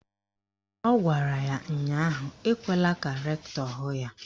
Ọ gwara ya ụnyaahụ "Ekwela ka rektọ hụ ya"!